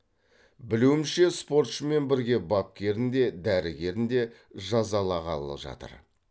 білуімше спортшымен бірге бапкерін де дәрігерін де жазалағалы жатыр